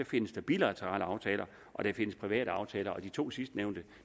findes der bilaterale aftaler og der findes private aftaler og de to sidstnævnte